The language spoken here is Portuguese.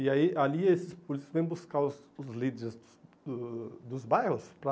E aí, ali, esses políticos vêm buscar os os líderes o dos bairros para...